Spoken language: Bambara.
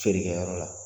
Feerekɛyɔrɔ la